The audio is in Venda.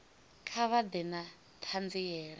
kha vha ḓe na ṱhanziela